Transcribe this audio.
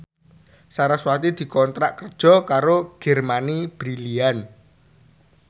sarasvati dikontrak kerja karo Germany Brilliant